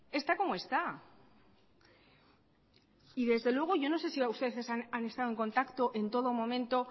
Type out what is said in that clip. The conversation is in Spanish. está como está y desde luego yo no sé si ustedes han estado en contacto en todo momento